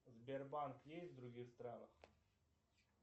сбербанк есть в других странах